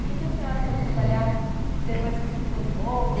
O que que a senhora foi trabalhar depois que se formou?